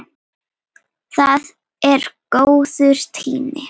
Það er góður tími.